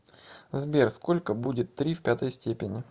сбер сколько будет три в пятой степени